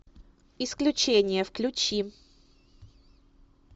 исключение включи